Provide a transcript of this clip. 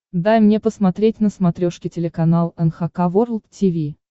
дай мне посмотреть на смотрешке телеканал эн эйч кей волд ти ви